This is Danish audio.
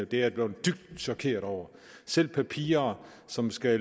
jeg blevet dybt chokeret over selv papirer som skal